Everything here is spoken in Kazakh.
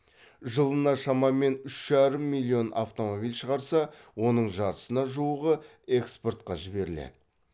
жылына шамамен үш жарым миллион автомобиль шығарса оның жартысына жуығы экспортқа жіберіледі